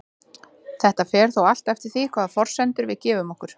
Þetta fer þó allt eftir því hvaða forsendur við gefum okkur.